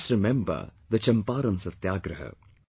Let us remember the Champaran Satyagraha